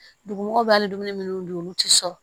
Dugumɔgɔw b'a hali dumuni minnu dun olu tɛ sɔrɔ